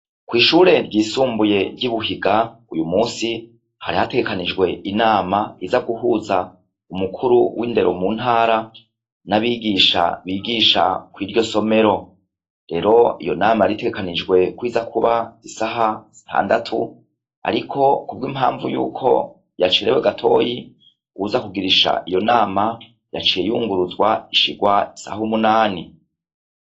Kwishure ryisumbuye ryibuhiga uyu musi hari hategekanijwe intama iza guhuza umukuru windero muntara nabigisha bigisha kwiryo somero rero iyo nama yaritegekanijwe kwiza kuba isaha zitandatu ariko kubwimpavu ko yacerewe gato uwuza kugirisha iyo nama yaciye yunguruzwa isaha umunani